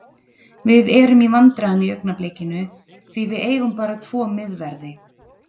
Við erum í vandræðum í augnablikinu því við eigum bara tvo miðverði.